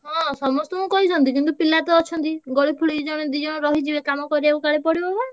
ହଁ ସମସ୍ତଙ୍କୁ କହିଛନ୍ତି କିନ୍ତୁ ପିଲାତ ଅଛନ୍ତି ଗଳି ଫଳି ଜଣେ ଦିଜଣ ରହିଯିବେ କାମ କରିଆକୁ କାଳେ ପଡିବ ବା।